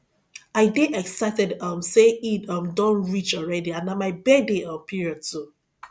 i dey excited um say eid um don reach already and na my birthday um period too